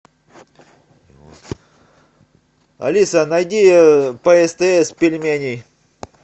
алиса найди по стс пельмени